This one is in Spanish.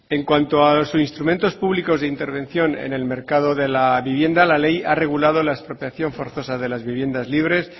en cuanto a los instrumentos públicos de intervención en el mercado de la vivienda la ley ha regulado la expropiación forzosa de las viviendas libres